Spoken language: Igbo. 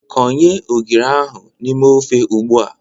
Konye ogiri ahụ n'ime ofe ugbua!